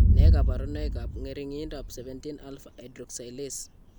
Nee kabarunoikab ng'ering'indoab 17 alpha hydroxylase?